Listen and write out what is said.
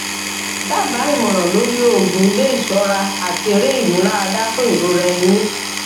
daba ìmọràn lórí oògùn ilé isora ati ere imularada fún ìrora ẹyìn